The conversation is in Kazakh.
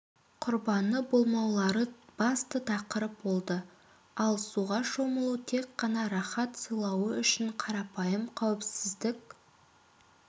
құрбаны болмаулары басты тақырып болды ал суға шомылу тек қана рахат сыйлауы үшін қарапайым қауіпсіздік